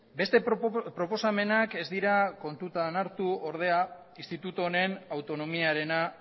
beste proposamenak ez dira kontutan hartu ordea instituto honen autonomiarena